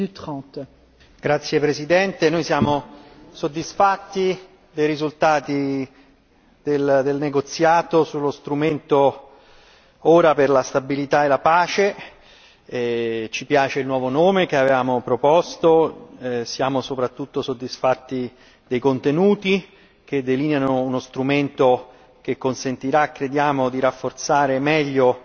Signor Presidente, onorevoli colleghi, siamo soddisfatti dei risultati del negoziato sullo strumento per la stabilità e la pace. Ci piace il nuovo nome che avevamo proposto e siamo soprattutto soddisfatti dei contenuti che delineano uno strumento che consentirà, crediamo, di rafforzare meglio